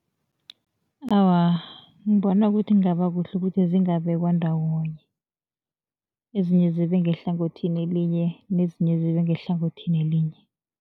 Awa, ngibona ukuthi kungaba kuhle ukuthi zingabekwa ndawonye, ezinye zibe ngehlangothini elinye nezinye zibe ngehlangothini elinye.